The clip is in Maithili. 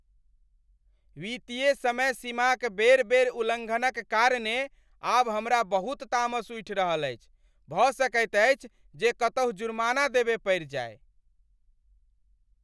वित्तीय समय सीमाक बेर बेर उल्लङ्घनक कारणे आब हमरा बहुत तामस उठि रहल अछि, भऽ सकैत अछि जे कतहुँ जुर्माना देबय पड़ि जाय।